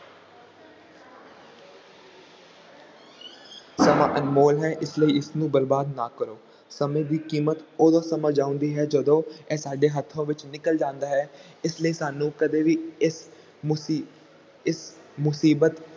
ਸਮਾਂ ਅਨਮੋਲ ਹੈ ਇਸ ਲਈ ਇਸਨੂੰ ਬਰਬਾਦ ਨਾ ਕਰੋ, ਸਮੇਂ ਦੀ ਕੀਮਤ ਉਦੋਂ ਸਮਝ ਆਉਂਦੀ ਹੈ ਜਦੋਂ ਇਹ ਸਾਡੇ ਹੱਥੋਂ ਵਿੱਚੋਂ ਨਿਕਲ ਜਾਂਦਾ ਹੈ ਇਸ ਲਈ ਸਾਨੂੰ ਕਦੇ ਵੀ ਇਸ ਮੁਸੀ~ ਇਸ ਮੁਸੀਬਤ